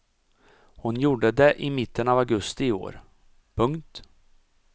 Hon gjorde det i mitten av augusti i år. punkt